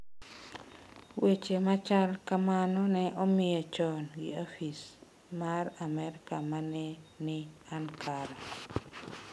Weche machal kamano ne omiye chon gi ofis mar Amerka ma ne ni Ankara.